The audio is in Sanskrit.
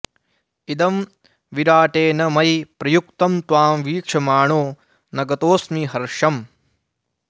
इदं विराटेन मयि प्रयुक्तं त्वां वीक्षमाणो न गतोस्मि हर्षम्